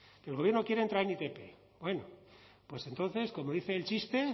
que el gobierno quiere entrar en itp bueno pues entonces como dice el chiste